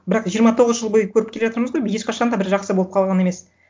бірақ жиырма тоғыз жыл бойы көріп келе жатырмыз ғой ешқашан да бір жақсы болып қалған емес